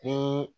Ni